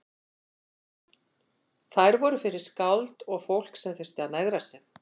Þær voru fyrir skáld og fólk sem þurfti að megra sig.